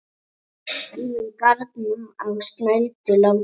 Síðan garn á snældu látum.